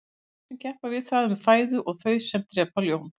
þau dýr sem keppa við það um fæðu og þau sem drepa ljón